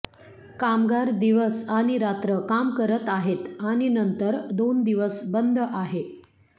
कामगार दिवस आणि रात्र काम करत आहेत आणि नंतर दोन दिवस बंद आहे